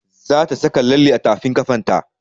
Za ta saka lalle a tafin ƙafan ta